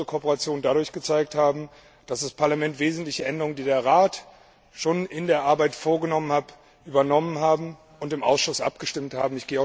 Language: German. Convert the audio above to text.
Wir haben unsere Kooperation dadurch gezeigt, dass das Parlament wesentliche Änderungen, die der Rat schon in der Arbeit vorgenommen hat, übernommen und im Ausschuss abgestimmt hat.